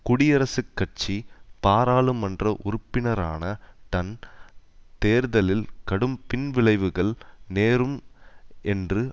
குடியரசுக் கட்சி பாராளுமன்ற உறுப்பினரான டன் தேர்தலில் கடும் பின்விளைவுகள் நேரும் என்று